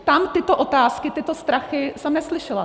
Tam tyto otázky, tyto strachy jsem neslyšela.